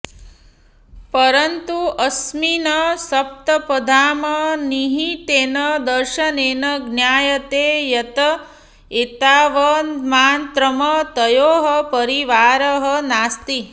परन्तु अस्मिन् सप्तपद्याम् निहितेन दर्शनेन ज्ञायते यत् एतावन्मात्रम् तयोः परिवारः नास्ति